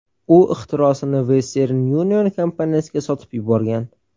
U ixtirosini Western Union kompaniyasiga sotib yuborgan.